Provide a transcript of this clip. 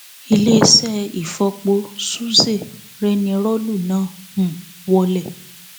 iléeṣẹ ìfọpo sụzé rẹnirọọlù náà um wọlẹ